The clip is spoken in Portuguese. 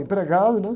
Empregado, né?